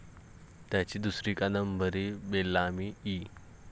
त्याची दुसरी कादंबरी, बेलामी, इ.